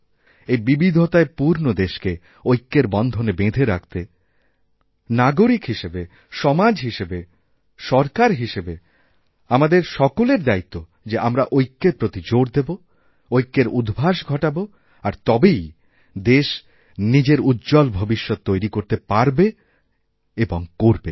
এই বিবিধতায় পূর্ণ দেশকেঐক্যের বন্ধনে বেঁধে রাখতে নাগরিক হিসেবে সমাজ হিসেবে সরকার হিসেবে আমাদেরসকলের দায়িত্ব যে আমরা ঐক্যের প্রতি জোর দেব ঐক্যের উদ্ভাস ঘটাব আর তবেই দেশনিজের উজ্জ্বল ভবিষ্যৎ তৈরি করতে পারবে এবং করবে